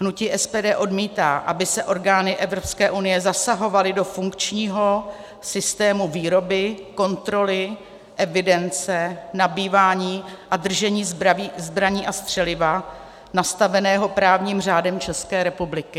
Hnutí SPD odmítá, aby se orgány EU zasahovaly do funkčního systému výroby, kontroly, evidence, nabývání a držení zbraní a střeliva nastaveného právním řádem České republiky.